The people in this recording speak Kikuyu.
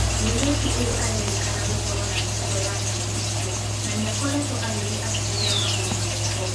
Mũirĩtu ũyũ arerĩkana gũkorwo na mĩtugo ya nyamũ icio na nĩakoretwo agĩthiĩ akĩhũthĩra magũrũ na moko.